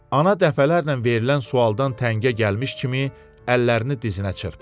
Ana dəfələrlə verilən sualdan təngə gəlmiş kimi əllərini dizinə çırpdı.